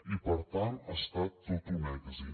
i per tant ha estat tot un èxit